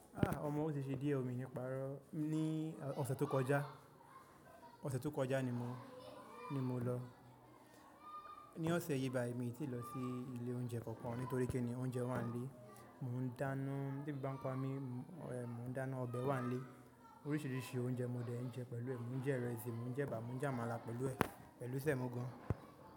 Ah! Ọmọ o ti ṣe díẹ̀ o mi ní párọ̀ ní ọ̀sẹ̀ tó kọjá. Ọ̀sẹ̀ tó kọjá ni mọ̀ ni mo lọ. Ní ọ̀sẹ̀ yìí báyi mi ti lọ sí ilé oúnjẹ kankan nítorí kíni oúnjẹ wà nílé. Mò ń dáná bí ebi bá n pa mí, mo ẹ̀ mọ̀ ń dáná ọbẹ̀ wà nílé. Oríṣìíríṣìí oúnjẹ mo dẹ̀ ń jẹ pẹ̀lú ẹ̀. Mò ń jẹ ìrẹsì, mò ń jẹ ẹ̀bà, mò ń jẹ àmàlà pẹ̀lú ẹ̀, pẹ̀lú sẹ̀mọ́ gan.